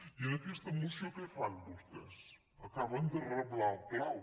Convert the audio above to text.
i en aquesta moció què fan vostès acaben de reblar el clau